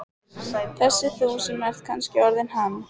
Þessi þú sem ert kannski orðinn hann.